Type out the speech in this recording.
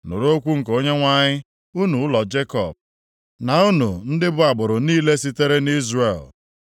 Nụrụ okwu nke Onyenwe anyị unu ụlọ Jekọb, na unu ndị bụ agbụrụ niile sitere nʼIzrel.